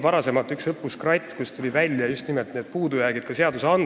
Varem on olnud õppus "Kratt", kus tulid välja just nimelt puudujäägid seadustes.